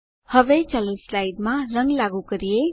હવે ચાલો સ્લાઇડમાં રંગ લાગુ કરીએ